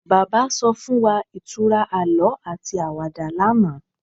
Bàbá so fún wa ìtura àlọ ati àwàdà lánàá